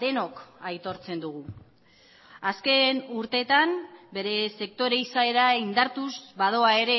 denok aitortzen dugu azken urteetan bere sektore izaera indartuz badoa ere